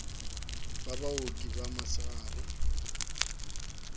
ba baoki ba mosegare ba